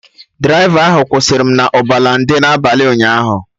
Draịva ahụ kwụsịrị m na Ọbalende n'abalị ụnyaahụ